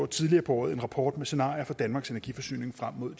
tidligere på året en rapport med scenarier for danmarks energiforsyning frem mod